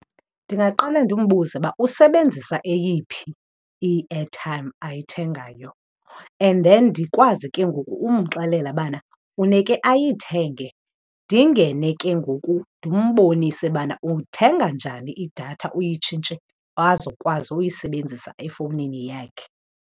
Ndingaqale ndimbuze uba usebenzisa eyiphi i-airtime ayithengayo and then ndikwazi ke ngoku umxelela ubana funeke ayithenge, ndingene ke ngoku ndimbonise ubana uthenga njani idatha uyitshintshe azokwazi uyisebenzisa efowunini yakhe.